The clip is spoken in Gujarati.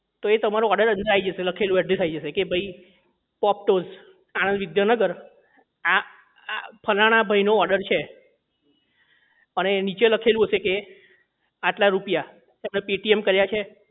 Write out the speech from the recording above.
તો એ તમારો order અંદર આઈ જશે લખેલું address આવી જશે કે ભાઈ પોપટસ આણંદ વિદ્યાનગર આ આ ફલાણા ભાઈ નો order છે અને નીચે લખેલું હશે કે આટલા રૂપિયા કેટલા paytm કર્યા છે